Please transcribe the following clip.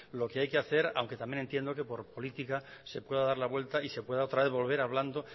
lo que hay que hacer aunque también entiendo que por política se pueda dar la vuelta y se pueda otra vez volver hablando